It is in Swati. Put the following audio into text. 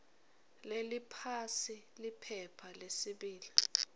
leliphasi liphepha lesibili